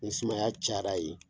Ni sumaya caya la yen